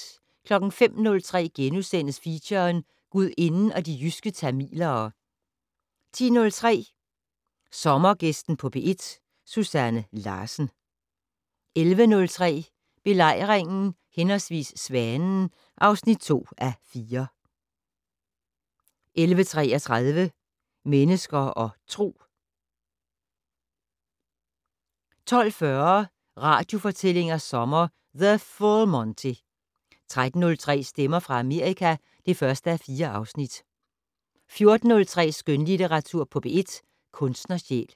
05:03: Feature: Gudinden og de jyske tamilere * 10:03: Sommergæsten på P1: Susanne Larsen 11:03: Belejringen/Svanen (2:4) 11:33: Mennesker og Tro 12:40: Radiofortællinger sommer: The Full Monty! 13:03: Stemmer fra Amerika (1:4) 14:03: Skønlitteratur på P1: Kunstnersjæl